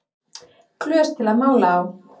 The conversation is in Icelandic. Glös til að mála á